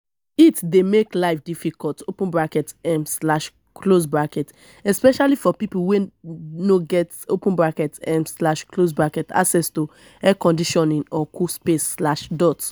heat dey make life difficult um especially for people wey no get um access to air conditioning or cool space.